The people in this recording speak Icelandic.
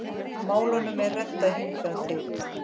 Málunum er reddað þangað til.